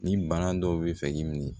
Ni bana dɔw bi fɛ k'i mi